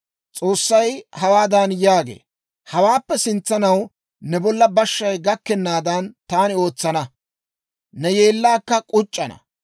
S'oossay hawaadan yaagee; «Hawaappe sintsanaw ne bolla bashshay gakkennaadan taani ootsana; ne yeellaakka k'uc'c'ana.